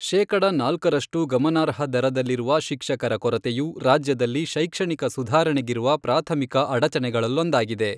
ಶೇಕಡ ನಾಲ್ಕರಷ್ಟು ಗಮನಾರ್ಹ ದರದಲ್ಲಿರುವ ಶಿಕ್ಷಕರ ಕೊರತೆಯು ರಾಜ್ಯದಲ್ಲಿ ಶೈಕ್ಷಣಿಕ ಸುಧಾರಣೆಗಿರುವ ಪ್ರಾಥಮಿಕ ಅಡಚಣೆಗಳಲ್ಲೊಂದಾಗಿದೆ.